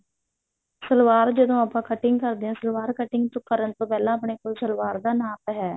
ਸਲਵਾਰ ਜਦੋਂ ਆਪਾਂ cutting ਕਰਦੇ ਹਾਂ ਸਲਵਾਰ cutting ਕਰਨ ਤੋਂ ਪਹਿਲਾਂ ਆਪਣੇ ਕੋਲ ਸਲਵਾਰ ਦਾ ਨਾਮ ਹੈ